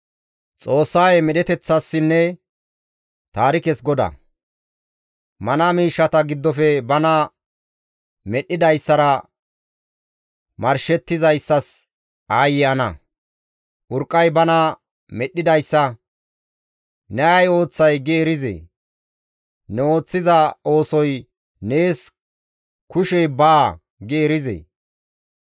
«Mana miishshata giddofe bana medhdhidayssara marshettizayssas aayye ana! Urqqay bana medhdhidayssa, ‹Ne ay ooththay?› gi erizee? Ne ooththiza oosoy, ‹Nees kushey baa› gi erizee?